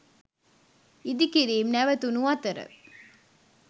ඉදිකිරීම් නැවතුනු අතර